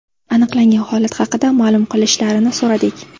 Aniqlangan holat haqida ma’lum qilishlarini so‘radik.